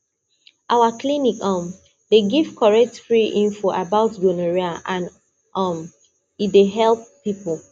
our clinic um dey give correct free info about gonorrhea and um e dey help people